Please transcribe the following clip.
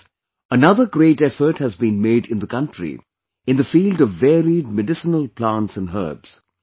Friends, another great effort has been made in the country in the field of varied medicinal plants and herbs